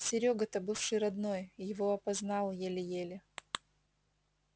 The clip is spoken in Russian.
серёга то бывший родной его опознал еле-еле